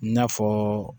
I n'a fɔ